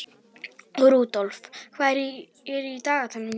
Rudolf, hvað er í dagatalinu í dag?